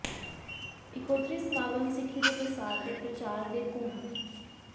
ਇਕੋਤਰੀ ਸਮਾਗਮ ਸਿੱਖੀ ਦੇ ਪ੍ਰਸਾਰ ਤੇ ਪ੍ਰਚਾਰ ਦੇ ਕੁੰਭ